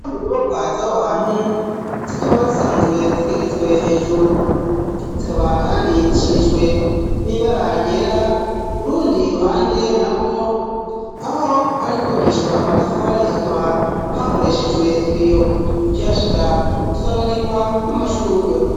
Inyubakwa zaho hantu zikaba zisanzwe zigeretswe hejuru, zikabaha kandi zisharijwe nibara ryera, urundi ruhande nagwo aho hari kubakishwa amatafari hakaba hakoreshejwe ibiyo, ukihashika usanganirwa n'amashugwe.